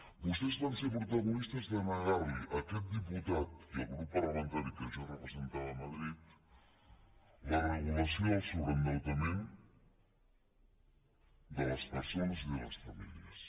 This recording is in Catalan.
vostès van ser protagonistes de negar li a aquest diputat i al grup parlamentari que jo representava a madrid la regulació del sobreendeutament de les persones i de les famílies